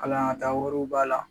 Kalanl yɔrɔ taa wariw b'a la